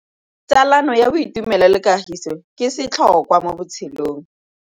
Tsalano ya boitumelo le kagiso ke setlhôkwa mo botshelong.